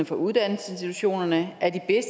for uddannelsesinstitutionerne